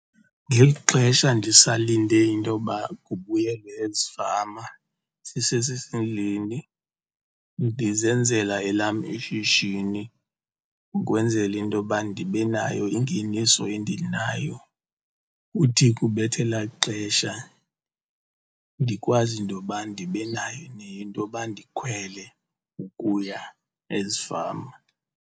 Ngeli xesha ndisalinde into yoba kubuyelwe ezifama sisesesendlini ndizenzela elam ishishini ukwenzela into yoba ndibe nayo ingeniso endinayo. Uthi kubetha elaa xesha ndikwazi into yoba ndibe nayo into yoba ndikhwele ukuya ezifama.